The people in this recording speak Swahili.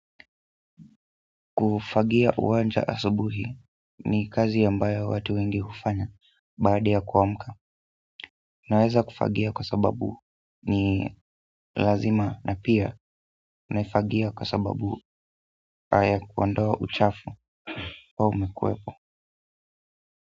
Kufagia uwanja asubuhi ni kazi ambayo watu wengi hufanya baada yakuwamka, naweza kufagia kwa sababu ni lazima na pia naifagia kwa sababu ya kuondoa uchafu huwa umekuwepo.